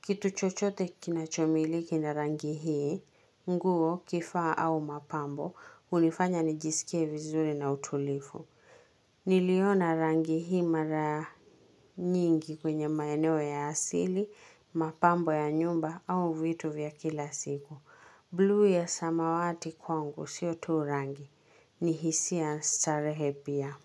Kitu chochote kinachomiliki na rangi hii, nguo kifaa au mapambo, hunifanya nijisikie vizuri na utulivu. Niliona rangi hii mara nyingi kwenye maeneo ya asili, mapambo ya nyumba au vitu vya kila siku Blue ya samawati kwangu sio tu rangi, ni hisia starehe pia.